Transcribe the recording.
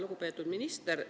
Lugupeetud minister!